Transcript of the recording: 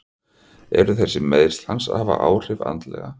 Eru þessi meiðsli hans að hafa áhrif andlega?